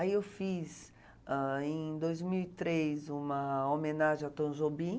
Aí eu fiz, ãh, em dois mil e três, uma homenagem ao Tom Jobim.